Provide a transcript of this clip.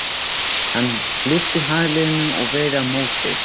Hann lyfti handleggnum og veifaði á móti.